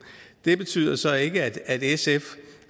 det betyder så ikke at sf